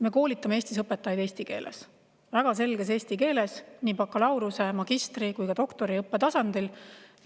Me koolitame Eestis õpetajaid eesti keeles, väga selges eesti keeles, nii bakalaureuse-, magistri- kui ka doktoriõppe tasandil.